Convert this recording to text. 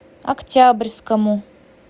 октябрьскому